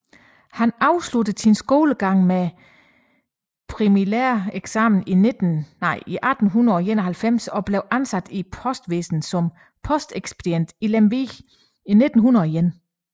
Han afsluttede sin skolegang med præliminæreksamen i 1891 og blev ansat i Postvæsenet som postekspedient i Lemvig i 1901